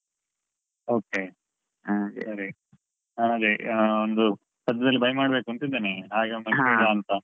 Okay ಆ ಸರಿ. ಹಾ ಅದೇ ಆ ಒಂದು ಸದ್ಯದಲ್ಲಿ buy ಮಾಡ್ಬೇಕು ಅಂತ ಇದ್ದೇನೆ ಹಾಗೆ ಆ ಇದು photo ತೇಗ್ದು ಕಳಿಸ್ತೇನೆ ಅಂದ್ರೆ choose ಮಾಡಿ.